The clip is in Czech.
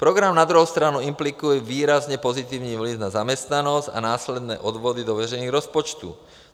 Program na druhou stranu implikuje výrazně pozitivní vliv na zaměstnanost a následné odvody do veřejných rozpočtů.